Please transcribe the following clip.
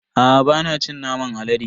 Aa bana cin naman alade.